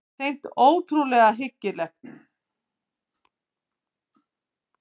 Hreint ótrúlega hryggilegt.